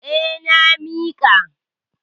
Eh, na miƙa.